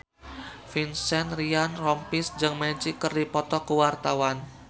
Vincent Ryan Rompies jeung Magic keur dipoto ku wartawan